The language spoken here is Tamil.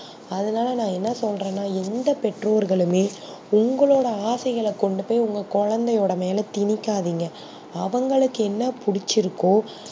அதுனால நா என்ன சொல்றனா எந்த பெட்டோர்களுமே உங்க லோட ஆசைகல கொண்டு போய் உங்க குழந்தையோட மேல தினிக்காதிங்க அவங்களுக்கு என்ன புடிச்சி இருக்கோ